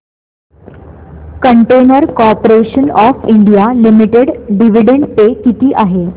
container corporation of India limited dividend pay किती आहे